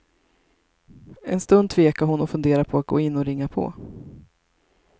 En stund tvekade hon och funderade på att gå in och ringa på.